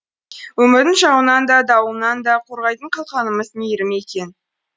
өмірдің жауынынан да дауылынан да қорғайтын қалқанымыз мейірім екен